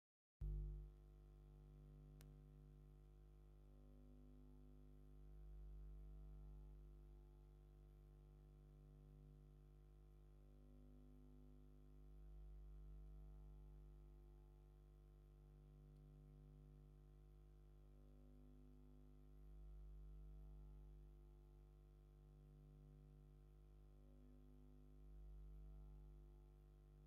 ናይ ንግዲ ቦታ! ሓያሎ ኣህጉራውያን ኣገልግሎታት ምትሕልላፍ ገንዘብ ይረኣዩ ኣለዉ፡ "ማኒግራም"፡ "ዳሃብሺል"፡ "WESTERN UNION" ከምኡ'ውን "ርያ"።ክልተ ሰባት ኣብ ኣፍደገ እቲ ህንጻ ደው ኢሎም፡ ሓደ ካብኣቶም ናይ ፖሊስ ወይ ወተሃደራዊ ክዳን ዝለበሰ እዩ።